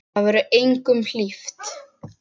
Það verður engum hlíft!